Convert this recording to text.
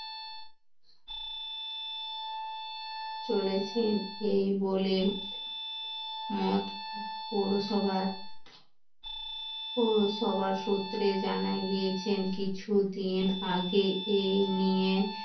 চলেছেন এই বলে মত পৌরসভার পৌরসভার সূত্রে জানা গিয়েছেন কিছুদিন আগে এই নিয়ে